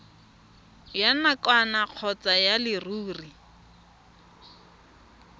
ya nakwana kgotsa ya leruri